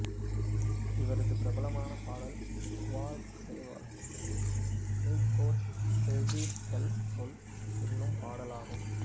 இவரது பிரபலமான பாடல் குவால்செவோல் நித் போத் சொர்தீர் எல் சொல் என்னும் பாடலாகும்